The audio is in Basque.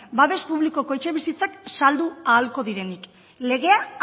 babes publikoko etxebizitzak saldu ahalko direnik legea